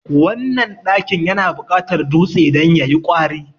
wannan ɗakin yana buƙatar dutse don ya yi kwari